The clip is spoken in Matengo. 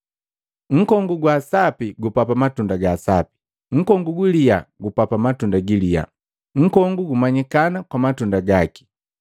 “Nkongu gwa sapi gupapa matunda ga sapi, nunkongu guliya gupapa matunda giliya. Nkongu gumanyikana kwa matunda gaki.